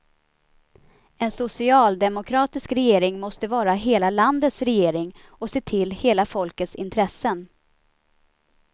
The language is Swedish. En socialdemokratisk regering måste vara hela landets regering och se till hela folkets intressen.